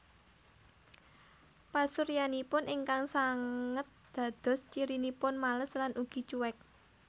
Pasuryanipun ingkang sanget dados cirinipun males lan ugi cuek